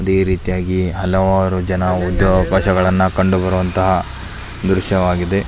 ಇದೆ ರೀತಿಯಾಗಿ ಹಲವಾರು ಜನ ಉದ್ಯೋಗ ಅವಕಾಶ ಗಳನ್ನೂ ಕಂಡು ಬರುವಂತಹ ದ್ರಶ್ಯವಾಗಿದೆ.